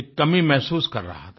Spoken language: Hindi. एक कमी महसूस कर रहा था